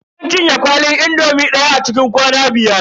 Mun cinye kwalin indomi daya a cikin kwana biyar.